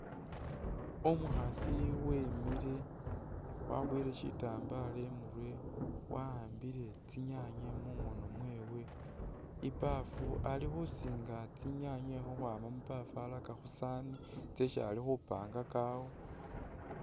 Umukhaasi wemile wabowele shitambalo imurwe awambile kyinyaanye mungono mwewe, ibafu ali khusinga tsi’nyaanye ukhwama mubaafu araka khusaani tsesi ali khupangaka awo.